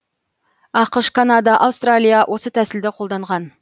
ақш канада аустралия осы тәсілді қолданған